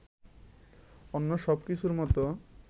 অন্য সবকিছুর মতো